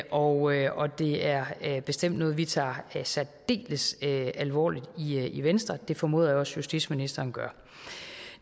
og det er bestemt noget vi tager særdeles alvorligt i venstre det formoder jeg også justitsministeren gør